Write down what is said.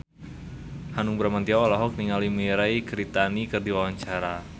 Hanung Bramantyo olohok ningali Mirei Kiritani keur diwawancara